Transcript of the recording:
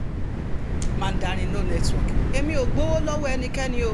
mandarin no network èmi ò gbowó lọ́wọ́ ẹnikẹ́ni o